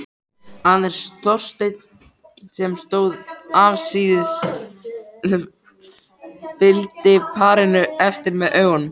Aðeins Þorsteinn sem stóð afsíðis, fylgdi parinu eftir með augunum.